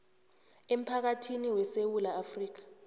emphakathini wesewula afrika